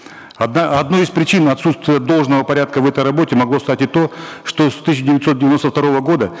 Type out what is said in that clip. одной из причин отсутствия должного порядка в этой работе могло стать и то что с тысяча девятьсот девяносто второго года